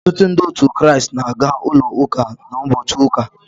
Ọtụtụ Ndị otu Kraịst na-aga ụlọ ụka n’ụbọchị ụka.